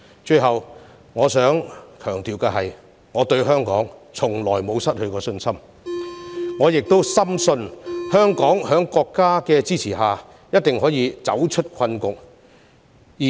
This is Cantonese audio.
最後，我想強調，我對香港從來沒有失去信心，我亦深信香港在國家的支持下，一定可以走出困局。